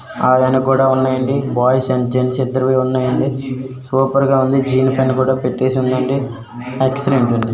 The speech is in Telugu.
కూడా ఉన్నాయండి. బాయ్స్ అండ్ జెన్స్ ఇద్దరివి ఉన్నాయండి. సూపర్ గా ఉంది జీన్ ప్యాంటు కూడా పెట్టేసి ఉందండి. ఎక్స్లెంట్ గా ఉంది.